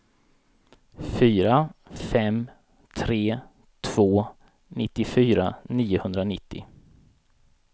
fyra fem tre två nittiofyra niohundranittio